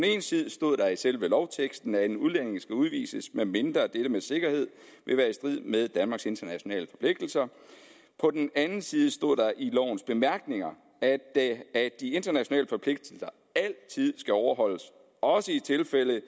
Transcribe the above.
side stod der i selve lovteksten at en udlænding skal udvises medmindre dette med sikkerhed vil være i strid med danmarks internationale forpligtelser på den anden side stod der i lovens bemærkninger at at de internationale forpligtelser altid skal overholdes også i tilfælde